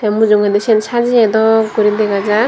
tey mujungedi sin sajeye bdok guri dega jar.